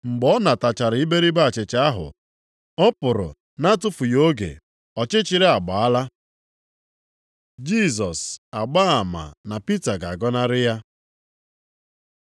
Mgbe ọ natachara iberibe achịcha ahụ, ọ pụrụ na-atụfughị oge, ọchịchịrị agbaala. Jisọs agbaa ama na Pita ga-agọnarị ya